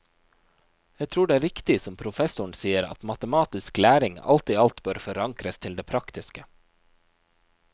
Jeg tror det er riktig, som professoren sier, at matematisk læring alt i alt bør forankres til det praktiske.